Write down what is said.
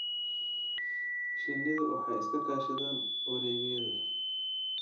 Shinnidu waxay iska kaashadaan wareegyada.